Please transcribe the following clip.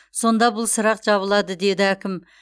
сонда бұл сұрақ жабылады деді әкім